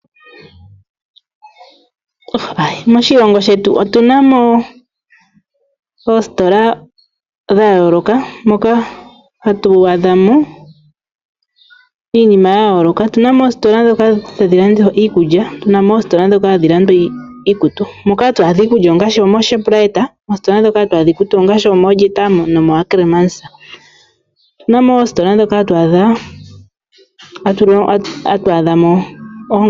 Moshilongo shetu otu na mo oositola dha yooloka moka hatu adha mo iinima ya yooloka. Otu na mo oositola ndhoka tadhi landwa iikulya, tu na mo oositola ndhoka tadhi landwa iikutu. Moka hatu adha iikulya ongaashi omooShoprite. Moositola moka hatu adha iikutu ongaashi omooJeta nomoAckremans. Otu na mo oositola moka hatu adha mo oongaku.